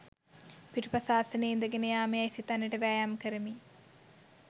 පිටුපස ආසනයේ ඉඳගෙන යාම යැයි සිතන්නට වෑයම් කරමි.